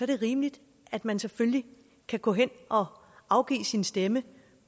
det rimeligt at man selvfølgelig kan gå hen og afgive sin stemme